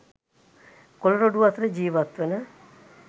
කොළ රොඩු අතර ජීවත් වන